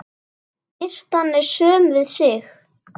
Birtan er söm við sig.